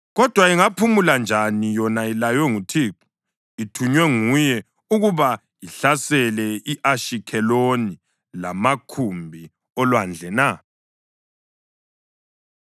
Kodwa ingaphumula njani yona ilaywe nguThixo, ithunywe nguye ukuba ihlasele i-Ashikheloni lamakhumbi olwandle na?”